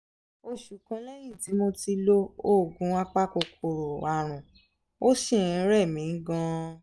oṣù kan lẹ́yìn tí mo ti lo oògùn apakòkòrò àrùn ó ṣì ń rẹ̀ mí gan-an